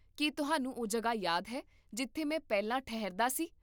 ਕੀ ਤੁਹਾਨੂੰ ਉਹ ਜਗ੍ਹਾ ਯਾਦ ਹੈ ਜਿੱਥੇ ਮੈਂ ਪਹਿਲਾਂ ਠਹਿਰਦਾ ਸੀ?